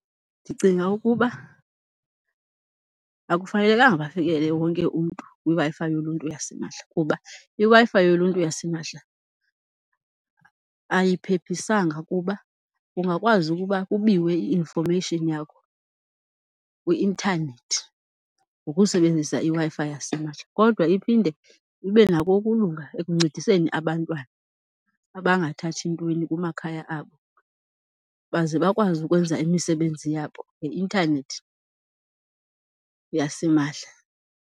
Ndicinga ukuba akufanelekanga bafikelele wonke umntu kwiWi-Fi yoluntu yasimahla kuba iWi-Fi yoluntu yasimahla ayiphephisanga kuba kungakwazi ukuba kubiwe i-information yakho kwi-inthanethi ngokusebenzisa iWi-Fi yasimahla. Kodwa iphinde ibenako ukulunga ekuncediseni abantwana abangathathi ntweni kumakhaya abo baze bakwazi ukwenza imisebenzi yabo ngeintanethi yasimahla.